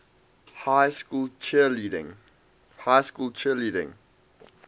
high school cheerleading